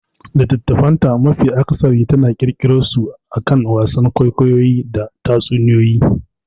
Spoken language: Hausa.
Littattafan ta mafi akasari tana kirkirarsu akan wasan kwaikwayo da tatsuniyoyi.